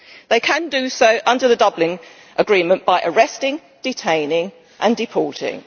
They can do so under the Dublin Agreement by arresting, detaining and deporting.